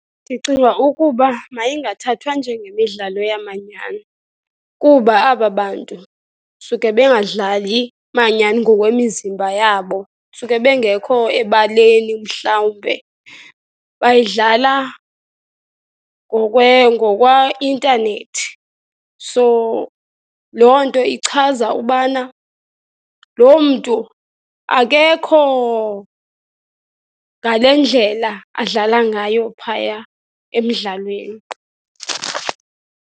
Ndicinga ukuba mayingathathwa njengemidlalo yamanyani, kuba aba bantu suke bengadlali manyani ngokwemizimba yabo, suke bengekho ebaleni mhlawumbe. Bayidlala ngokweintanethi, so loo nto ichaza ubana loo mntu akekho ngale ndlela adlala ngayo phaya emdlalweni.